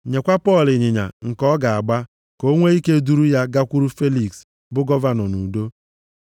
Nyekwa Pọl ịnyịnya nke ọ ga-agba, ka e nwee ike duru ya gakwuru Feliks bụ gọvanọ nʼudo.”